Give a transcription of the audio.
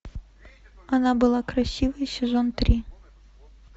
она была красивой сезон три